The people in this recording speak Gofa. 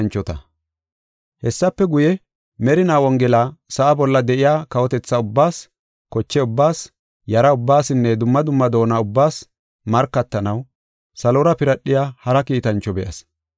Hessafe guye, merinaa Wongela sa7a bolla de7iya kawotethaa ubbaas, koche ubbaas, yara ubbaasinne dumma dumma doona ubbaas markatanaw salora piradhiya hara kiitancho be7as.